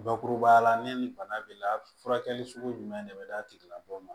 Bakurubaya la ne ni bana b'i la furakɛli sugu jumɛn de bɛ d'a tigilamɔgɔ ma